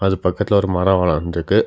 அது பக்கத்துல ஒரு மரம் வளண்ட்ருக்கு.